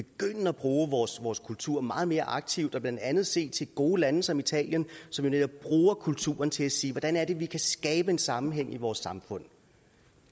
at bruge vores vores kultur meget mere aktivt og blandt andet se til gode lande som italien som jo netop bruger kulturen til at sige hvordan er det vi kan skabe en sammenhæng i vores samfund